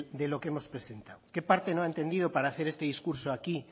de lo que hemos presentado qué parte no ha entendido para hacer este discurso aquí